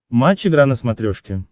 матч игра на смотрешке